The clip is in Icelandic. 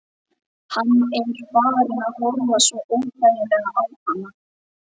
Hann er farinn að horfa svo óþægilega á hana.